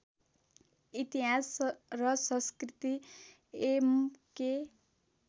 इतिहास र संस्कृति एमके